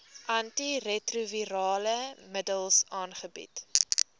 antiretrovirale middels aangebied